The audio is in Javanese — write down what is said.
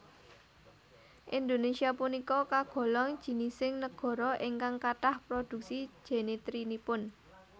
Indonesia punika kagolong jinising negara ingkang kathah produksi jenitrinipun